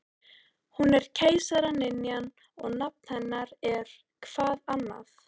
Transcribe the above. Hún er keisaraynjan og nafn hennar er-hvað annað?